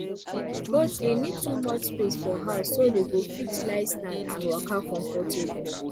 goats dey need too much space for house so dey go fit lie stand and waka comfortable